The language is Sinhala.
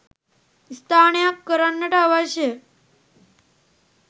ස්ථානයක් කරන්නට අවශ්‍ය ය.